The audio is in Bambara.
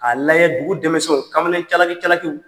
A n'an ye dugu dɛmɛsɛnw kamalen calaki-calakiw